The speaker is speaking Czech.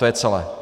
To je celé.